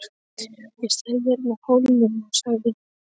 Ég stæði þarna á Hólnum og segði